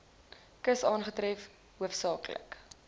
kus aangetref hoofsaaklik